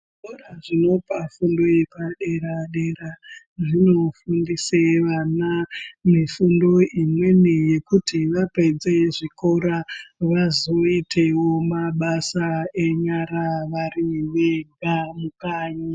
Zvikora zvinopa fungo yepadera dera zvinofundise vana nefundo imweni yekuti vapedze zvikora vazoitewo mabasa enyara vari vega mukanyi.